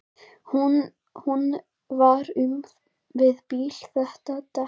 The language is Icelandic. Hún var um það bil að detta.